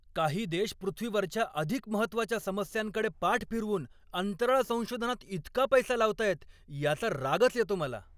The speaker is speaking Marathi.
काही देश पृथ्वीवरच्या अधिक महत्त्वाच्या समस्यांकडे पाठ फिरवून अंतराळ संशोधनात इतका पैसा लावतायत याचा रागच येतो मला.